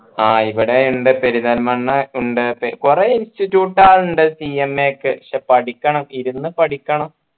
ആഹ് ഇവിടെ ഉണ്ട് പെരിന്തൽമണ്ണ ഉണ്ട് കൊറേ institute കളുണ്ട് CMA ഒക്കെ ക്ഷേ പഠിക്കണം ഇരുന്നു പഠിക്കണം